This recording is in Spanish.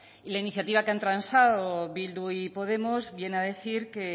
y la iniciativa que han transado bildu y podemos viene a decir que